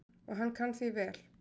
Og hann kann því vel.